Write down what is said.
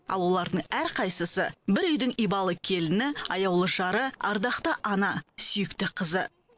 ал олардың әрқайсысы бір үйдің ибалы келіні аяулы жары ардақты ана сүйікті қызы